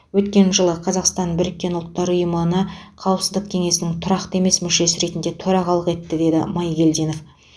өткен жылы қазақстан біріккен ұлттар ұйымына қауіпсіздік кеңесінің тұрақты емес мүшесі ретінде төрағалық етті деді майгелдинов